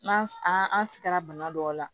N'an an sigira bana dɔw la